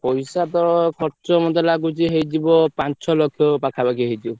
ପଇସା ତ ଖର୍ଚ ମତେ ଲାଗୁଛି ହେଇଯିବ ପାଞ୍ଚ ଛ ଲକ୍ଷ ପାଖାପାଖି ହେଇଯିବ।